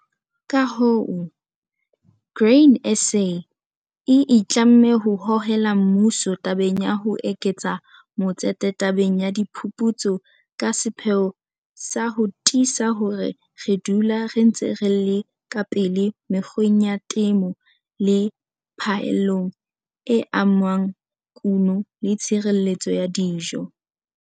Ka hoo, Grain SA e itlamme ho hohela mmuso tabeng ya ho eketsa matsete tabeng ya diphuputso ka sepheo sa ho tiisa hore re dula re ntse re le ka pele mekgweng ya temo le phaellong e amang kuno le tshireletso ya dijo.